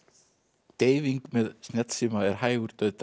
deyfing með snjallsíma er hægur dauðdagi